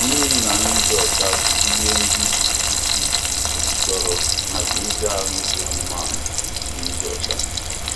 Mmiri na nri dị ọcha bụ ihe ndị bụ isi chọrọ maka ezi ahụike anụmanụ na ịdị ọcha.